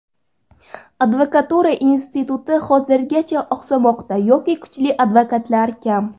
Advokatura instituti hanuzgacha oqsamoqda yoki kuchli advokatlar kam.